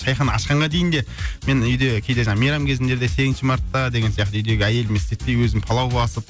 шайхана ашқанға дейін де мен үйде кейде жаңа мейрам кезінде де сегізінші мартта деген сияқты үйдегі әйеліме істетпей өзім палау басып